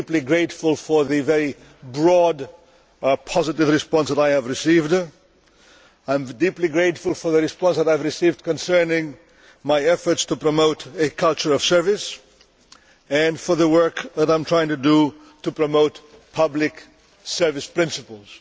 I am deeply grateful for the very broad positive response that I have received. I am deeply grateful for the response that I have received concerning my efforts to promote a culture of service and for the work that I am trying to do to promote public service principles.